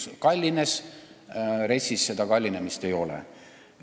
See kallines, RES-is seda kallinemist aga sees ei ole.